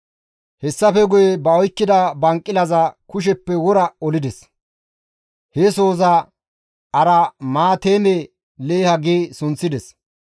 Hessafe ba oykkida banqilaza kusheppe wora olides; he sohoza, «Aramaateeme-Leeha» gi sunththides.